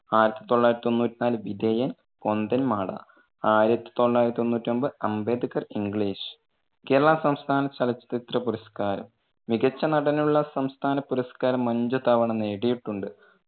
ആയിരത്തി തൊള്ളായിരത്തി തൊണ്ണൂറ്റിനാല് വിധേയൻ, പൊന്തന്മാട. ആയിരത്തി തൊള്ളായിരത്തി തൊണ്ണൂറ്റൊമ്പത് അംബേദ്‌കർ English. കേരളാ സംസ്ഥാന ചലച്ചിത്ര പുരസ്കാരം മികച്ച നടനുള്ള സംസ്ഥാന പുരസ്കാരം അഞ്ചു തവണ നേടിയിട്ടുണ്ട്.